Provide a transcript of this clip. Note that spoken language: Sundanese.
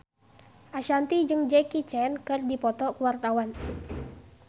Ashanti jeung Jackie Chan keur dipoto ku wartawan